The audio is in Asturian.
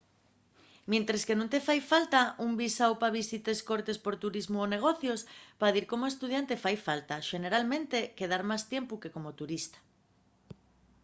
mientres que nun te fai falta un visáu pa visites cortes por turismu o negocios pa dir como estudiante fai falta xeneralmente quedar más tiempu que como turista